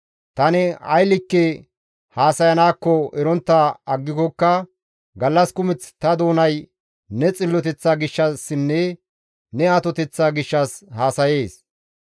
Tani ay likke haasayanaakko erontta aggikokka gallas kumeth ta doonay ne xilloteththa gishshassinne ne atoteththa gishshas haasayees;